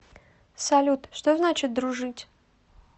салют что значит дружить